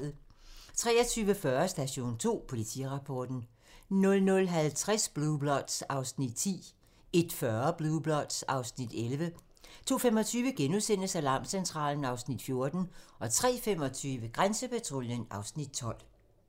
23:40: Station 2: Politirapporten 00:50: Blue Bloods (Afs. 10) 01:40: Blue Bloods (Afs. 11) 02:25: Alarmcentralen (Afs. 14)* 03:25: Grænsepatruljen (Afs. 12)